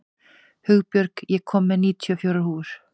Hugbjörg, ég kom með níutíu og fjórar húfur!